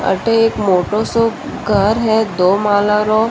अठ एक मोटो सो घर है दो माला रो।